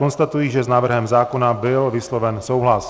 Konstatuji, že s návrhem zákona byl vysloven souhlas.